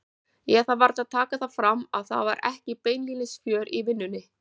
Ég þarf varla að taka það fram að það var ekki beinlínis fjör í vinnunni.